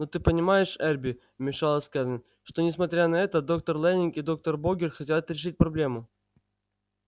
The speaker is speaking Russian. но ты понимаешь эрби вмешалась кэлвин что несмотря на это доктор лэннинг и доктор богерт хотят решить проблему